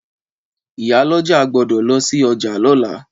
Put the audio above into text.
Ìyálọ́jà gbódò lọsí ọjà lóla